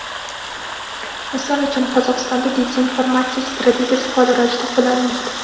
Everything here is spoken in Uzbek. Misol uchun, Qozog‘istonda dezinformatsiya strategiyasi faol ravishda qo‘llanilmoqda.